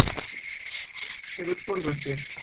Fólk hefði forðað sér